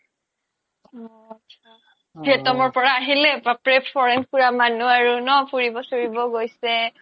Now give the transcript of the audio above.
অ আত্চা vietnam ৰ পৰা আহিলে বাপ ৰে foreign চৰেন ঘুৰা মানুহ আৰু ন ফুৰিব চুৰিব গৈছে